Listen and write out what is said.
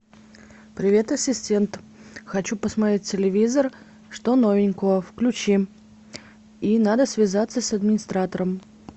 привет ассистент хочу посмотреть телевизор что новенького включи и надо связаться с администратором